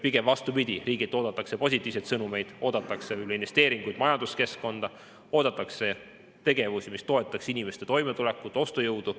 Pigem vastupidi, riigilt oodatakse positiivseid sõnumeid, oodatakse investeeringuid majanduskeskkonda, oodatakse tegevusi, mis toetaks inimeste toimetulekut, ostujõudu.